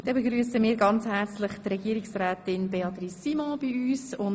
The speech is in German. Nun begrüssen wir herzlich Frau Regierungsrätin Simon bei uns.